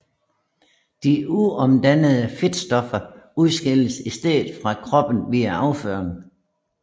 De uomdannede fedtstoffer udskilles i stedet fra kroppen via afføring